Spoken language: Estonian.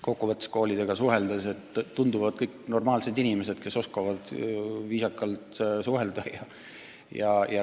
Kui koolidega suhelda, siis tunduvad kõik normaalsed inimesed, kes oskavad viisakalt suhelda.